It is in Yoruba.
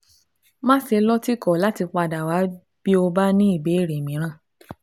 Máṣe lọ́tìkọ̀ láti padà wá bí o bá ní ìbéèrè mìíràn